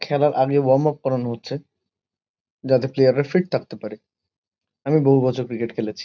খেলার আগে warm up করানো হচ্ছে যাতে প্লেয়ার -রা ফিট থাকতে পারে। আমি বহু বছর ক্রিকেট খেলেছি।